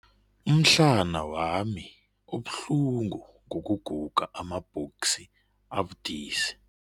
Umhlana wami ubuhlungu ngokuguga amabhoksi abudisi.